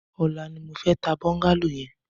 Ọlà ni mó fè tà bọngàló yèn